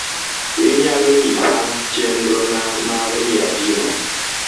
inyalo nyisa chenrona mar miadina